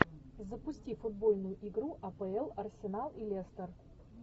запусти футбольную игру апл арсенал и лестер